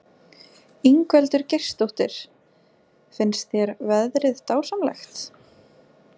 Ingveldur Geirsdóttir: Finnst þér veðrið dásamlegt?